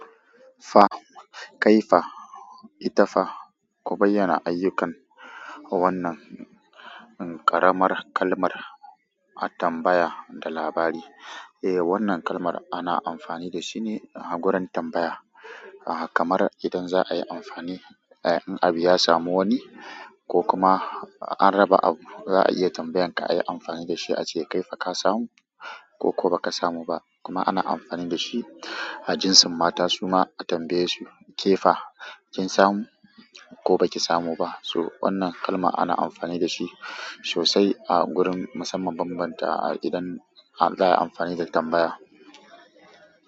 Fa, kai fa, ita fa, ku bayyana ayyukan wannan ƙaramar kalmar a tambaya da labari. Eh wannan kalmar ana amfani da shi ne a gurin tambaya, kamar idan za a yi amfani, in abu ya samu wani ko kuma an raba abu za a iya tambayan ka ayi amfani da shi a ce kai fa ka samu ko ko baka samu ba. Kuma ana amfani da shi a jinsin mata suma a tambaye su ke fa kin samu ko ba ki samu ba. So wannan kalmar ana amfani da shi sosai a gurin musamman bambanta idan za a yi amfani da tambaya.